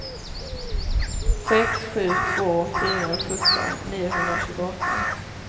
sex sju två fyra sjutton niohundratjugoåtta